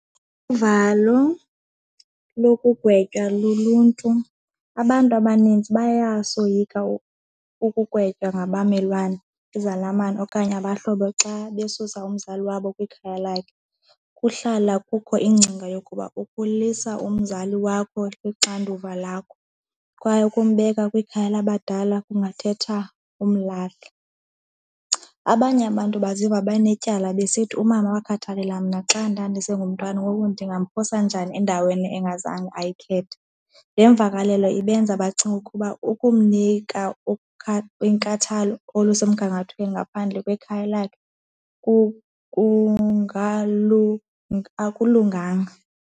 Uvalo lokugwetywa luluntu, abantu abaninzi bayasoyiki ukugwetywa ngabamelwane, izalamane okanye abahlobo xa besusa umzali wabo kwikhaya lakhe kuhlala kukho ingcinga yokuba ukulisa umzali wakho lixanduva lakho kwaye ukumbeka kwikhaya labadala kungathetha umlahla. Abanye abantu baziva banetyala besithi umama wakhathalela mna xa ndandisengumntwana ngoku ndingamphosa njani endaweni engazange ayikhethe, le mvakalelo ibenza bacinge ukuba ukumnika inkathalo olusemgangathweni ngaphandle kwekhaya lakhe akulunganga.